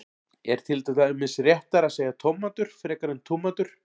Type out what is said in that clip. er til dæmis réttara að segja tómatur frekar en túmatur